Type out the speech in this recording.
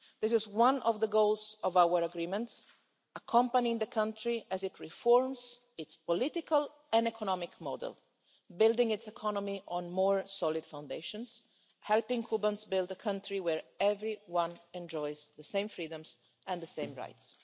This is one of the goals of our agreements accompanying the country as it reforms its political and economic model, building its economy on more solid foundations, and helping Cubans build a country where everyone enjoys the same freedoms and the same rights.